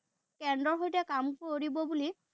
কেন্দ্ৰৰ সৈতে কাম কৰিব বুলি